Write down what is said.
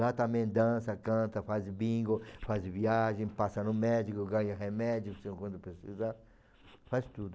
Lá também dança, canta, faz bingo, faz viagem, passa no médico, ganha remédio para você quando precisar, faz tudo.